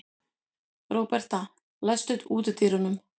Róberta, læstu útidyrunum.